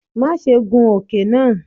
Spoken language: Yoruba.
Maṣe gun oke naa!